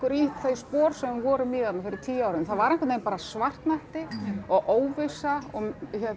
í þau spor sem við vorum í þarna fyrir tíu árum það var einhvern veginn bara svartnætti og óvissa og